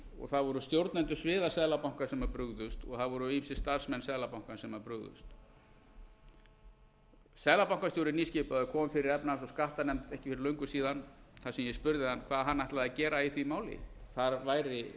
og það voru stjórnendur sviða seðlabankans sem brugðust og það voru vissir starfsmenn seðlabankans sem brugðust nýskipaður seðlabankastjóri kom fyrir efnahags og skattanefnd ekki fyrir löngu síðan þar sem ég spurði hann hvað hann ætlaði að gera í því máli það væri